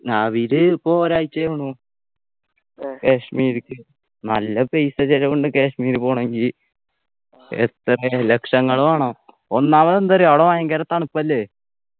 അവര് ഇപ്പൊ ഒരാഴ്ചയാണു കാശ്മീരിക്ക് നല്ല പൈസ ചെലവുണ്ട് കാശ്മീർ പോവണെങ്കി എത്ര ലക്ഷങ്ങൾ വേണം ഒന്നാമത് എന്തറിയോ അവിടെ ഭയങ്കര തണുപ്പല്ലേ